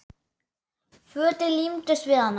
Fötin límdust við hana.